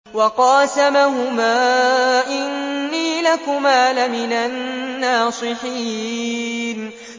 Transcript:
وَقَاسَمَهُمَا إِنِّي لَكُمَا لَمِنَ النَّاصِحِينَ